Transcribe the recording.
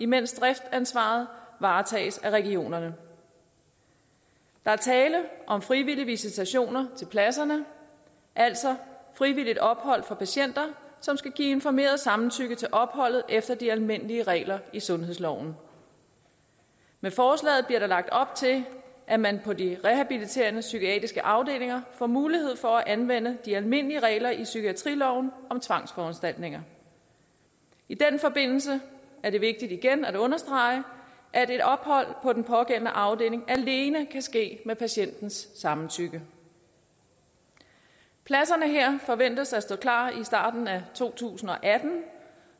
mens driftsansvaret varetages af regionerne der er tale om frivillige visitationer til pladserne altså frivilligt ophold for patienter som skal give informeret samtykke til opholdet efter de almindelige regler i sundhedsloven med forslaget bliver der lagt op til at man på de rehabiliterende psykiatriske afdelinger får mulighed for anvende de almindelige regler i psykiatriloven om tvangsforanstaltninger i den forbindelse er det vigtigt igen at understrege at et ophold på den pågældende afdeling alene kan ske med patientens samtykke pladserne her forventes at stå klar i starten af to tusind og atten